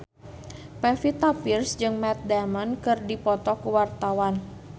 Pevita Pearce jeung Matt Damon keur dipoto ku wartawan